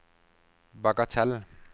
bagatell